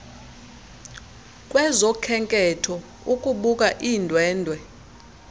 kwezokhenketho ukubuka iindwendwe